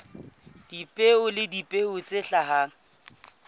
dipeo le dipeo tse hlahang